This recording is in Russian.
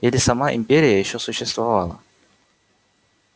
и если сама империя ещё существовала